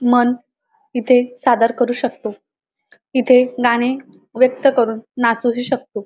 मन इथे सादर करू शकतो इथे गाणे व्यक्त करून नाचूही शकतो.